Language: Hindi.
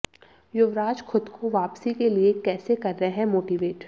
युवराज खुद को वापसी के लिए कैसे कर रहे हैं मोटिवेट